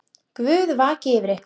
Guð vaki yfir ykkur.